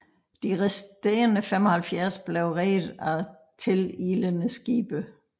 De resterende 75 blev reddet af tililende skibe